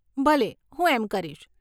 ભલે, હું એમ કરીશ.